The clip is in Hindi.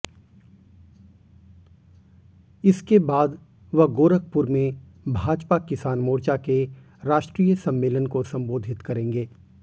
इसके बाद वह गोरखपुर में भाजपा किसान मोर्चा के राष्ट्रीय सम्मेलन को संबोधित करेंगे